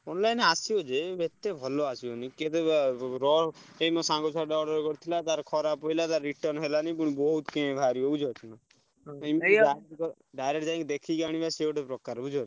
Online ଆସିବ ଯେ ଏତେ ଭଲ ଆସିବନି କେବେ ଏଇ ମୋ ସାଙ୍ଗ ଛୁଆଟେ order କରିଥିଲା ତାର ଖରାପ୍ ପଇଲା ତାର return ହେଲାନି ପୁଣି ବହୁତ୍ କେଁ ବାହାରିବ ବୁଝି ପାରୁଚନା, direct ଯାଇକି ଦେଖିକି ଆଣିବା ସିଏ ଗୋଟେ ପ୍ରକାର ବୁଝି ପାରୁଚ।